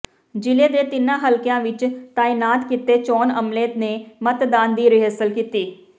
ਜ਼ਿਲ੍ਹੇ ਦੇ ਤਿੰਨਾਂ ਹਲਕਿਆਂ ਵਿਚ ਤਾਇਨਾਤ ਕੀਤੇ ਚੋਣ ਅਮਲੇ ਨੇ ਮਤਦਾਨ ਦੀ ਰਿਹਰਸਲ ਕੀਤੀ